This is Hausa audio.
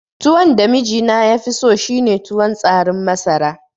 Tuwon da mijina yafi so shine tuwon tsarin masara